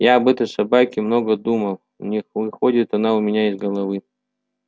я об этой собаке много думал не выходит она у меня из головы